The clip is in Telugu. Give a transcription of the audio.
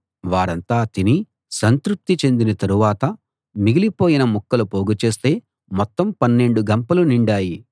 వారంతా తిని సంతృప్తి చెందిన తరువాత మిగిలిపోయిన ముక్కలు పోగుచేస్తే మొత్తం పన్నెండు గంపలు నిండాయి